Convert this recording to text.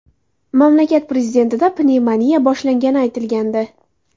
Mamlakat prezidentida pnevmoniya boshlangani aytilgandi.